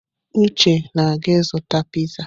Uche na-aga ịzụta piizá.